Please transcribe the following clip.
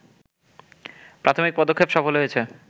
প্রাথমিক পদক্ষেপ সফল হয়েছে